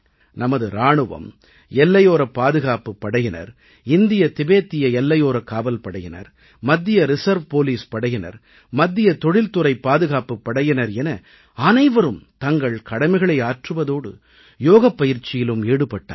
நமது இராணுவம் எல்லையோரப் பாதுகாப்புப் படையினர் இந்திய திபேத்திய எல்லையோரக் காவல் படையினர் மத்திய ரிசர்வ் போலீஸ் படையினர் மத்திய தொழில்துறைப் பாதுகாப்புப் படையினர் என அனைவரும் தங்கள் கடமைகளை ஆற்றுவதோடு யோகப் பயிற்சியிலும் ஈடுபட்டார்கள்